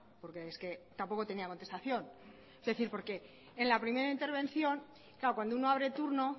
porque es que tampoco tenía contestación es decir porque en la primera intervención claro cuando uno abre turno